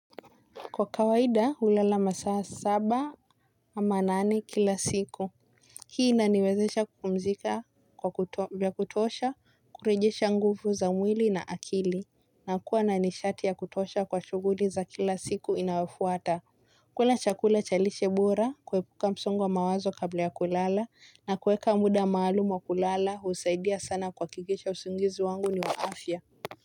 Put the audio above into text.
Kwa kawaida hulala masaa saba ama nane kila siku. Hii inaniwezesha kupumzika vya kutosha kurejesha nguvu za mwili na akili na kuwa na nishati ya kutosha kwa shughuli za kila siku inayofuata. Kula chakula cha lishe bora kuepuka msongo wa mawazo kabla ya kulala na kuweka muda maalumu wa kulala husaidia sana kuhakikisha usingizi wangu ni wa afya.